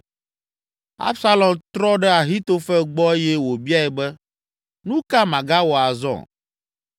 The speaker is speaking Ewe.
Absalom trɔ ɖe Ahitofel gbɔ eye wòbiae be, “Nu ka magawɔ azɔ?”